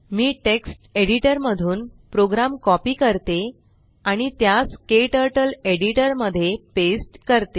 मी text editor मधून program copy करते आणि त्यास क्टर्टल एडिटर मध्ये पेस्ट करते